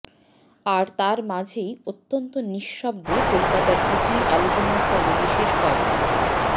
আর তার মাঝেই অত্যন্ত নিঃশব্দে কলকাতার দুটি আলোচনাস্থলে বিশেষ কয়েকটি